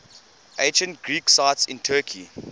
ancient greek sites in turkey